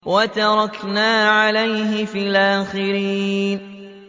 وَتَرَكْنَا عَلَيْهِ فِي الْآخِرِينَ